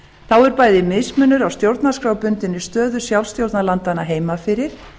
þá er bæði mismunur á stjórnarskrárbundinni stöðu sjálfstjórnarlandanna heima fyrir